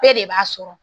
Bɛɛ de b'a sɔrɔ